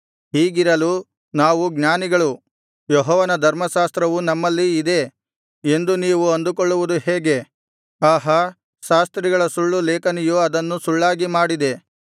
ಹೀಗಿರಲು ನಾವು ಜ್ಞಾನಿಗಳು ಯೆಹೋವನ ಧರ್ಮಶಾಸ್ತ್ರವು ನಮ್ಮಲ್ಲಿಯೇ ಇದೆ ಎಂದು ನೀವು ಅಂದುಕೊಳ್ಳುವುದು ಹೇಗೆ ಆಹಾ ಶಾಸ್ತ್ರಿಗಳ ಸುಳ್ಳು ಲೇಖನಿಯು ಅದನ್ನು ಸುಳ್ಳಾಗಿ ಮಾಡಿದೆ